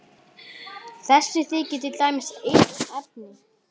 Þessi þykir til dæmis einn efni.